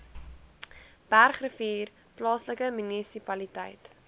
bergrivier plaaslike munisipaliteit